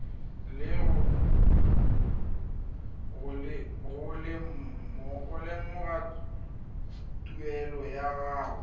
go lemoga tuelo ya gago